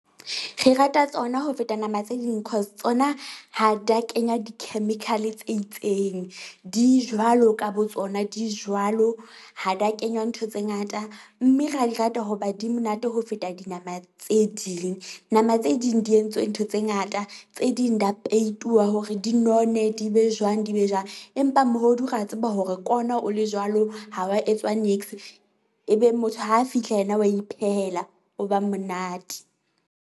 Re rata tsona ho feta nama tse ding cause tsona ha da kenya di-chemical tse itseng. Di jwalo ka bo tsona di jwalo ha da kenywa ntho tse ngata, mme ra di rata hoba di monate ho feta dinama tse ding. Nama tse ding di entswe ntho tse ngata tse ding da payituwa hore di none di be jwang di be jwang. Empa mohodu re a tseba hore ko ona o le jwalo, ha wa etswa niks ebe motho ha fihla yena wa iphehela, o ba monate.